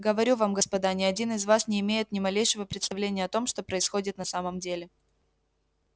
говорю вам господа ни один из вас не имеет ни малейшего представления о том что происходит на самом деле